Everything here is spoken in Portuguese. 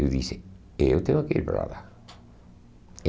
Eu disse, eu tenho que ir para lá.